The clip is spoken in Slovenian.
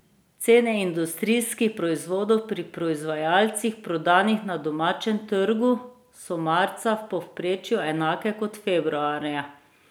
Cene industrijskih proizvodov pri proizvajalcih, prodanih na domačem trgu, so marca v povprečju enake kot februarja.